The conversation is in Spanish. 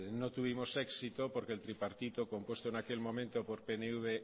no tuvimos éxito porque el tripartito compuesto en aquel momento por pnv